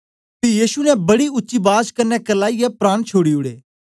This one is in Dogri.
पी यीशु ने बड़ी उच्ची बाज कन्ने करलाईयै प्राण छोड़ी ओड़े